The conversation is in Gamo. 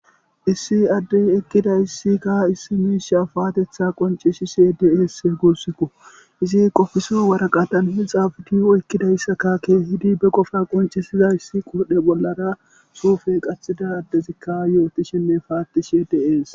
Issi addey eqidayssikka issi miishsha paatetha qoncishshe dees guussikko izi qofiso waraqatan he xaafidi ekkidayssakakka kehidi be qofa qoncisizayssi qudhdhe bollara suufe qaththida addezikka yootishenne paattishshe de'ees